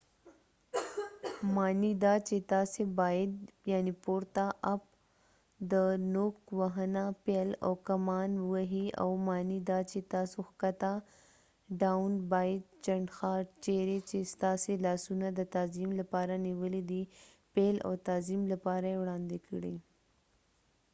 د up پورته معنی دا چې تاسې باید نوک وهنه پيل او کمان ووهئ او down ښکته معنی دا چې تاسې باید چنډخه چیرې چې ستاسې لاسونه د تعظیم لپاره نیولي دي پیل او تعظیم لپاره یې وړاندې کړئ